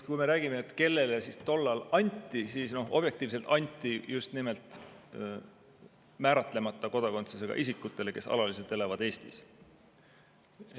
Kui me räägime, kellele siis tollal anti, siis objektiivselt anti just nimelt määratlemata kodakondsusega isikutele, kes alaliselt elavad Eestis.